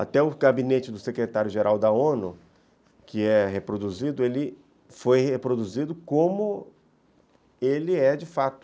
Até o gabinete do secretário-geral da o nu , que é reproduzido, ele foi reproduzido como ele é de fato.